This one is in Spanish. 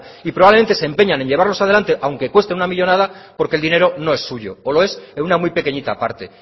y probablemente se empeñan en llevarlos adelante aunque cuesten una millónada porque el dinero no es suyo o lo es en una muy pequeñita parte